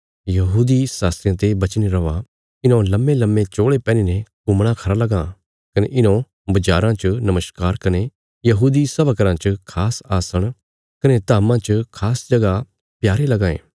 शास्त्रियां ते बचीने रौआ इन्हौं लम्मेलम्मे चोल़े पैहनीने घुमणा खरा लगां कने इन्हौं बज़ाराँ च नमस्कार कने यहूदी सभा घराँ च खास आसण कने धाम्मां च खास जगह प्यारे लगां ये